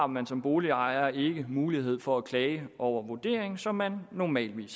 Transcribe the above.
man som boligejer ikke har mulighed for at klage over vurderingen sådan som man normalt